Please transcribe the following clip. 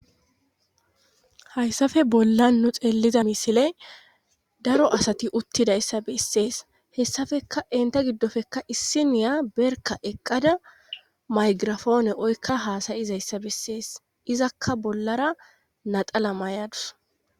hayssappe bollan nu xeeliza misiley daro asati uuttidayssa bessees hessapekka enta giddoppekka issiniya berka eqqada maygirafoone oykka haasayizayssa bessees izakka bollara naxala may'adus